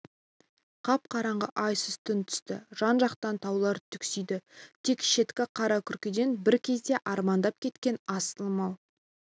қап-қараңғы айсыз түн түсті жан-жақтан таулар түксиді тек шеткі қара күркеден бір кезде арманда кеткен асылым-ау